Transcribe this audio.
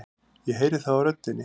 Ég heyri það á röddinni.